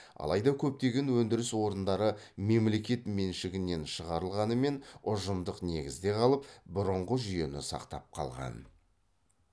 алайда көптеген өндіріс орындары мемлекет меншігінен шығарылғанымен ұжымдық негізде қалып бұрынғы жүйені сақтап қалған